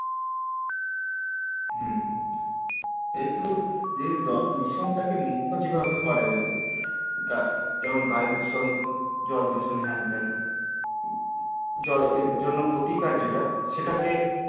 হম যেহেতু যে দূ ~দূষণ টা কে মুক্ত যেভাবে করা যাবে গাছ যেমন বায়ু দূষণ জল দূষণ হ্যান তান এর জন্য প্রতিকার যেটা সেটা কে